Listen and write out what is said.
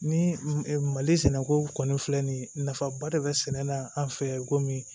Ni mali sɛnɛko kɔni filɛ nin ye nafaba de bɛ sɛnɛ na an fɛ yen komi